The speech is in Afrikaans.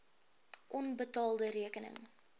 onbetaalde rekeninge